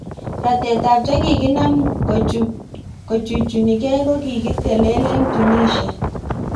Ratetab chekikakinam kocbuchunikei kokikitelel eng Tunisia